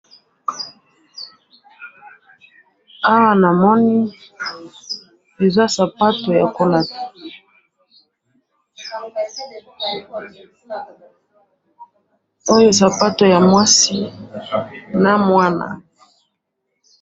Awa namoni eza sapato yakolata, oyo sapato ya mwasi na mwana.